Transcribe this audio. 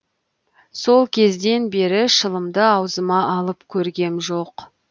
сол кезден бері шылымды аузыма алып көргем жоқ